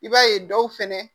I b'a ye dɔw fɛnɛ